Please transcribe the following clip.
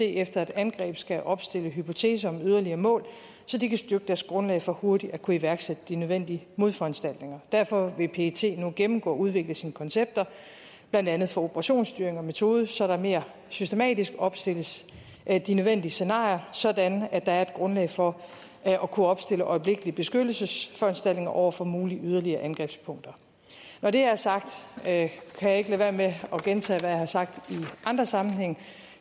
efter et angreb skal opstille hypoteser om yderligere mål så de kan styrke deres grundlag for hurtigt at kunne iværksætte de nødvendige modforanstaltninger derfor vil pet nu gennemgå og udvikle sine koncepter blandt andet for operationsstyring og metode så der mere systematisk opstilles de nødvendige scenarier sådan at der er et grundlag for at kunne opstille øjeblikkelige beskyttelsesforanstaltninger over for mulige yderligere angrebspunkter når det er sagt kan jeg ikke lade være med at gentage hvad jeg har sagt i andre sammenhænge